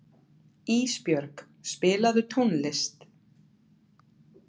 Ísbjörg, spilaðu tónlist.